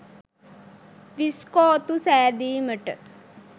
විස්කෝතු සෑදීමට